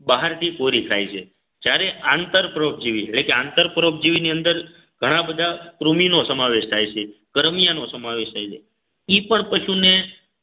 બહારથી કોરી થાય છે જ્યારે આંતરપ્રોગજીવી એટલે કે આંતરપ્રોપજીવીની અંદર ઘણા બધા કૃમિનો સમાવેશ થાય છે કરમિયાન નો સમાવેશ થાય છે એ પણ પશુને